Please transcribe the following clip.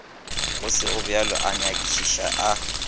go segobjalo a nyakišiše a